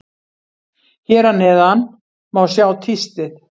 Hér að neðan má sjá tístið.